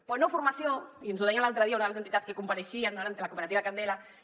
però no formació i ens ho deia l’altre dia una de les entitats que compareixia la cooperativa candela